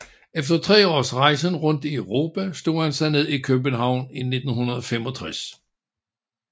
Efter tre års rejsen rundt i Europa slog han sig ned i København i 1965